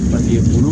Paseke bolo